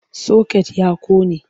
Soket ya ƙone.